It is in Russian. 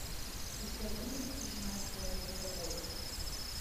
у тебя будет тишина становится тобой